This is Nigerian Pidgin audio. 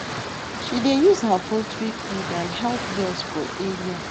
she dey use her poultry feed and help girls for area